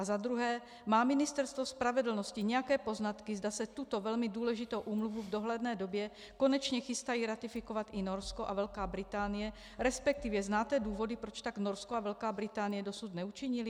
A za druhé: Má Ministerstvo spravedlnosti nějaké poznatky, zda se tuto velmi důležitou úmluvu v dohledné době konečně chystají ratifikovat i Norsko a Velká Británie, respektive znáte důvody, proč tak Norsko a Velká Británie dosud neučinily?